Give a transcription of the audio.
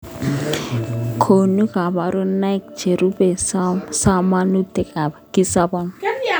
Konu koborunaik cherube somanutikab kisobon